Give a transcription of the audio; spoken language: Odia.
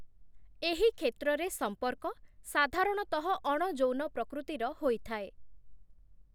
ଏହି କ୍ଷେତ୍ରରେ ସମ୍ପର୍କ ସାଧାରଣତଃ ଅଣ-ଯୌନ ପ୍ରକୃତିର ହୋଇଥାଏ ।